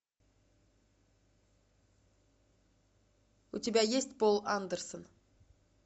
у тебя есть пол андерсон